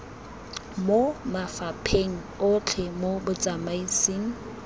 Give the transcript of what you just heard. mo mafapheng otlhe mo botsamaisng